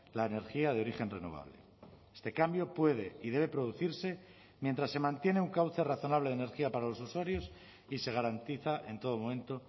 la energía de origen renovable este cambio puede y debe producirse mientras se mantiene un cauce razonable de energía para los usuarios y se garantiza en todo momento